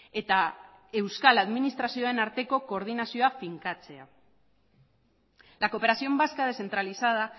eta euskal administrazioen arteko koordinazioa finkatzea la cooperación vasca descentralizada